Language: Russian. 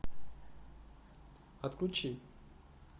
отключи